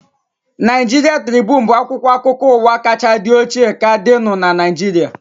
Naịjiria Tribunu bụ akwụkwọ akụkọ ụwa kachaa dị ochie ka dịnu n'Naijiria